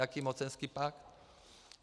Jaký mocenský pakt?